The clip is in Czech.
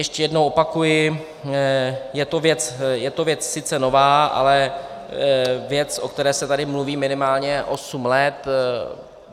Ještě jednou opakuji, je to věc sice nová, ale věc, o které se tady mluví minimálně osm let.